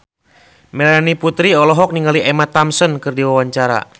Melanie Putri olohok ningali Emma Thompson keur diwawancara